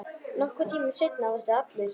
Nokkrum tímum seinna varstu allur.